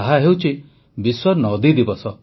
ତାହା ହେଉଛି ବିଶ୍ୱ ନଦୀ ଦିବସ